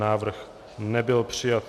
Návrh nebyl přijat.